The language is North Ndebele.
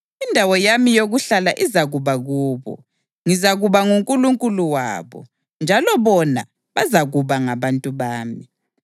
Indawo yami yokuhlala izakuba kubo; ngizakuba nguNkulunkulu wabo, njalo bona bazakuba ngabantu bami.